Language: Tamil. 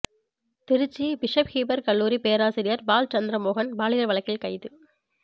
திருச்சி பிஷப் ஹீபர் கல்லூரி பேராசிரியர் பால் சந்திரமோகன் பாலியல் வழக்கில் கைது